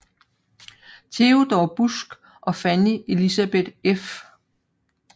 Theodor Busck og Fanny Elisabeth f